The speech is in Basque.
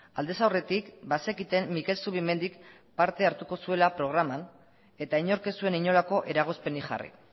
aldez aurretik bazekiten mikel zubimendik parte hartuko zuela programan eta inork ez zuen inolako eragozpenik jarri